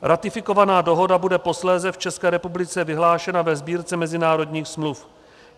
Ratifikovaná dohoda bude posléze v České republice vyhlášena ve Sbírce mezinárodních smluv.